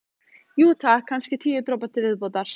Jú, takk, kannski tíu dropa til viðbótar.